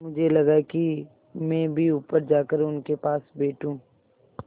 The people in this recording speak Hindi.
मुझे लगा कि मैं भी ऊपर जाकर उनके पास बैठूँ